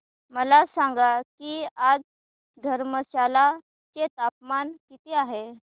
मला सांगा की आज धर्मशाला चे तापमान किती आहे